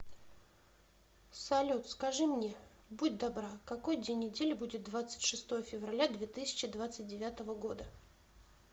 салют скажи мне будь добра какой день недели будет двадцать шестое февраля две тысячи двадцать девятого года